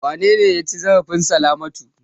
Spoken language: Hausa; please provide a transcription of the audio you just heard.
Wane ne ya ci zarafin Salamatu?